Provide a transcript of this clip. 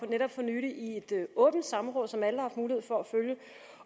netop for nylig i et åbent samråd som alle havde mulighed for at følge